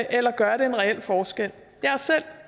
eller gør det en reel forskel jeg er selv